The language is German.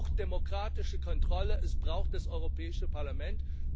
Es braucht demokratische Kontrolle es braucht das Europäische Parlament.